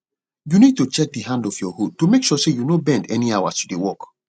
you need to check di hand of your hoe to make sure say you no bend anyhow as you dey work